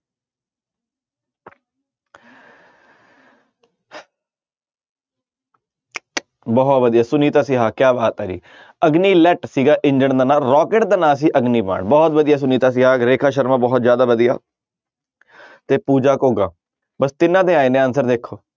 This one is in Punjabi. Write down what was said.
ਬਹੁਤ ਵਧੀਆ ਸੁਨੀਤਾ ਸਿਹਾ ਕਿਆ ਬਾਤ ਹੈ ਜੀ ਅਗਨੀ ਲੈਟ ਸੀਗਾ ਇੰਜਣ ਦਾ ਨਾਂ ਰੋਕੇਟ ਦਾ ਨਾਂ ਸੀ ਅਗਨੀ ਬਾਣ ਬਹੁਤ ਵਧੀਆ ਸੁਨੀਤਾ ਸਿਹਾ, ਰੇਖਾ ਸ਼ਰਮਾ ਬਹੁਤ ਜ਼ਿਆਦਾ ਵਧੀਆ ਤੇ ਪੂਜਾ ਘੋਗਾ ਬਸ ਤਿੰਨਾਂ ਦੇ ਆਏ ਨੇ answer ਦੇਖੋ।